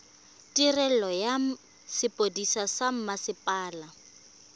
tirelo ya sepodisi sa mmasepala